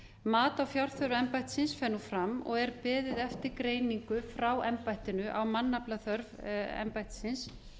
mat á fjárþörf embættisins fer nú fram og er beðið eftir greiningu frá embættinu á mannaflaþörf embættisins